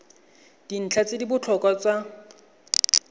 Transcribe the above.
dintlha tse di botlhokwa tsa